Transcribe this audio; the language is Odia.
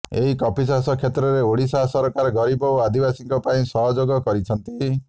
ଏହି କଫିଚାଷ କ୍ଷେତ୍ରରେ ଓଡ଼ିଶା ସରକାର ଗରିବ ଓ ଆଦିବାସୀଙ୍କ ପାଇଁ ସହଯୋଗ କରିଛନ୍ତି